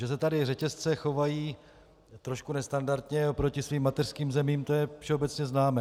Že se tu řetězce chovají trochu nestandardně oproti svým mateřským zemím, to je všeobecně známé.